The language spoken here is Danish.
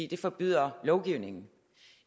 det forbyder lovgivningen